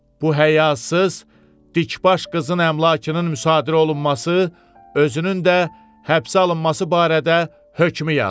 Bu hayasız, dikbaş qızın əmlakının müsadirə olunması, özünün də həbsə alınması barədə hökmü yaz.